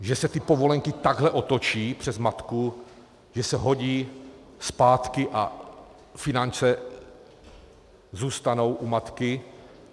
Že se ty povolenky takhle otočí přes matku, že se hodí zpátky a finance zůstanou u matky?